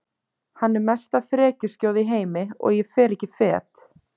Hann er mesta frekjuskjóða í heimi og ég fer ekki fet